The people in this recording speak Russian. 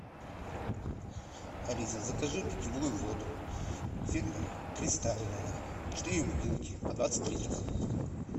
алиса закажи питьевую воду фирма кристальная четыре бутылки по двадцать литров